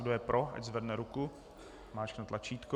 Kdo je pro, ať zvedne ruku a zmáčkne tlačítko.